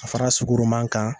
Ka far'a sugaroma kan.